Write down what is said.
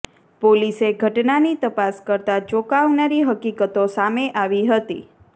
પોલીસે ઘટનાની તપાસ કરતા ચોંકાવનારી હકીકતો સામે આવી હતી